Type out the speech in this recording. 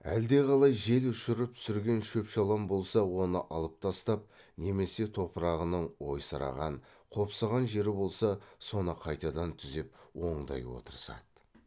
әлдеқалай жел ұшырып түсірген шөп шалам болса оны алып тастап немесе топырағының ойсыраған қопсыған жері болса соны қайтадан түзеп оңдай отырысады